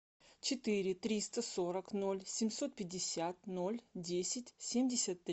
четыре триста сорок ноль семьсот пятьдесят ноль десять семьдесят три